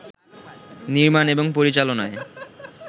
নির্মান এবং পরিচালনায়